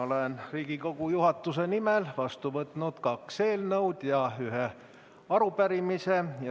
Olen Riigikogu juhatuse nimel vastu võtnud kaks eelnõu ja ühe arupärimise.